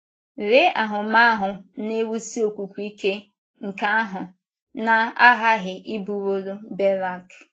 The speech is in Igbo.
Lee ahụmahụ na - ewusi okwukwe ike nke ahụ na -- aghaghị ịbụworo Berak!